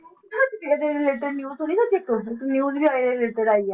ਤੇ ਨਾ ਤੁਸੀਂ ਇਹਦੇ related news ਸੁਣੀ ਨਾ ਇੱਕ news ਵੀ related ਆਈ ਹੈ,